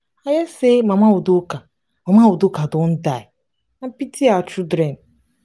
i hear say mama udoka mama udoka don die i pity her children